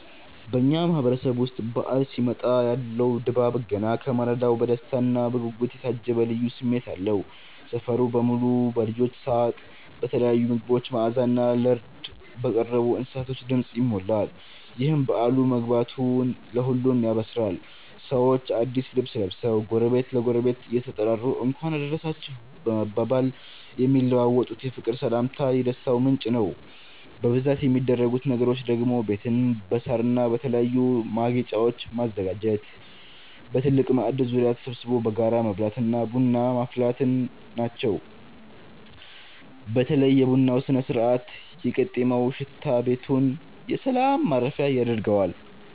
በኛ ማህበረሰብ ዉስጥ በዓል ሲመጣ ያለው ድባብ ገና ከማለዳው በደስታና በጉጉት የታጀበ ልዩ ስሜት አለው። ሰፈሩ በሙሉ በልጆች ሳቅ፤ በተለያዩ ምግቦች መዓዛና ለርድ በቀረቡ እንስሳቶች ድምፅ ይሞላል። ይህም በዓሉ መግባቱን ለሁሉም ያበስራል። ሰዎች አዲስ ልብስ ለብሰው፣ ጎረቤት ለጎረቤት እየተጠራሩ "እንኳን አደረሳችሁ" በመባባል የሚለዋወጡት የፍቅር ሰላምታ የደስታው ምንጭ ነው። በብዛት የሚደረጉት ነገሮች ደግሞ ቤትን በሳርና በተለያዩ ማጌጫወች ማዘጋጀት፣ በትልቅ ማዕድ ዙሪያ ተሰብስቦ በጋራ መብላትና ቡና ማፍላት ናቸው። በተለይ የቡናው ስነ-ስርዓትና የቄጤማው ሽታ ቤቱን የሰላም ማረፊያ ያደርገዋል።